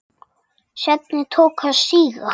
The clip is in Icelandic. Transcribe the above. Stefnið tók að síga.